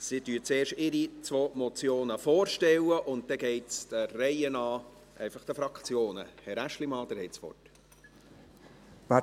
Sie stellen zuerst ihre beiden Motionen vor, und dann kommen die Fraktionen der Reihe nach zu Wort.